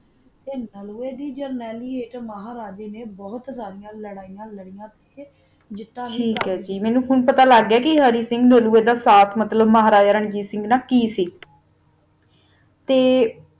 ਤਾ ਨਲੂਆ ਦੀ ਜਾਰ੍ਨਾਲੀ ਵਾਸਤਾ ਏਕ ਮਹਾਰਾਜਾ ਨਾ ਬੋਹਤ ਲਾਰਿਆ ਲਾਰਿਆ ਕੀ ਮੇਨੋ ਪਤਾ ਲਾਗ ਗੀ ਆ ਕਾ ਹਰਿ ਸਿੰਘ ਰਾਜ ਦੋਹੋਹੋ ਦਾ ਮਹਾਰਾਜਾ ਰਣਜੀਤ ਸਿੰਘ ਨਾਲ ਕੀ ਸੀ ਤਾ